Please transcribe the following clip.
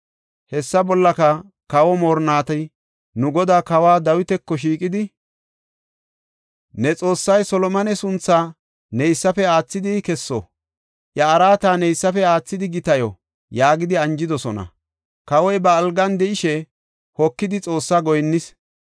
Hessa bollaka, kawa moorinnati nu godaa Kawa Dawitako shiiqidi, ‘Ne Xoossay Solomone sunthaa neysafe aathidi kesso; iya araata neysafe aathidi gitayo!’ yaagidi anjidosona. Kawoy ba algan de7ishe hokidi Xoossa goyinnis.